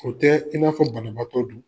O tɛɛ i n'a fɔ banabaatɔ du